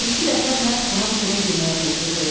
Bir-iki dəfə Mərd buna çörək yeməyə təklif etdi.